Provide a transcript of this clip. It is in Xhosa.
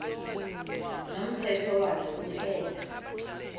nomthetho wakhe kuphela